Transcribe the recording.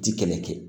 Ti kɛlɛ kɛ